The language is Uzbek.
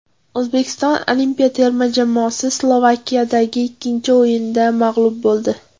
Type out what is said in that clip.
O‘zbekiston olimpiya terma jamoasi Slovakiyadagi ikkinchi o‘yinda mag‘lub bo‘ldi.